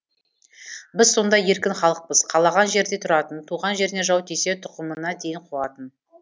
біз сондай еркін халықпыз қалаған жерде тұратын туған жеріне жау тисе тұқымына дейін қуатын